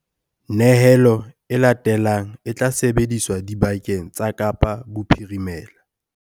Nyehelo e latelang e tla sebediswa dibakeng tsa Kapa Bophirimela.